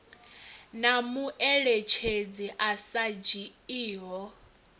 na mueletshedzi a sa dzhiiho